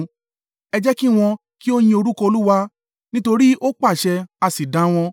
Ẹ jẹ́ kí wọn kí ó yin orúkọ Olúwa nítorí ó pàṣẹ a sì dá wọn